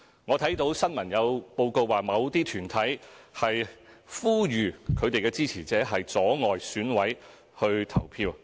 我看到新聞報告指有團體呼籲支持者阻礙選委前往投票。